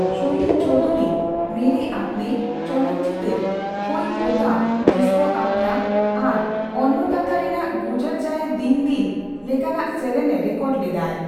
ᱥᱚᱞᱤᱞ ᱪᱳᱚᱣᱫᱷᱩᱨᱤ ' ᱢᱮᱨᱮ ᱟᱯᱱᱮ ' ᱪᱚᱞᱚᱛ ᱪᱤᱴᱟᱹᱨ ᱠᱳᱚᱭ ᱦᱳᱛᱟ ᱡᱤᱥᱠᱳ ᱟᱯᱱᱟ ᱟᱨ ' ᱚᱱᱱᱚᱫᱟᱛᱟ ' ᱨᱮᱱᱟᱜ ᱜᱩᱡᱚᱨ ᱡᱟᱭᱮ ᱫᱤᱱ ᱫᱤᱱ ᱼ ᱞᱮᱠᱟᱱᱟᱜ ᱥᱮᱨᱮᱧ ᱮ ᱨᱮᱠᱚᱨᱰ ᱞᱮᱫᱟᱭ ᱾